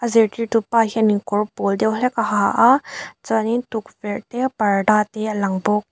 zirtirtu pa hianin kawr pawl deuh hlek a ha a chuanin tukverh te parda te a lang bawk.